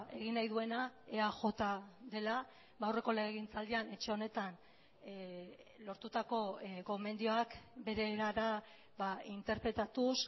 egin nahi duena eaj dela aurreko legegintzaldian etxe honetan lortutako gomendioak bere erara interpretatuz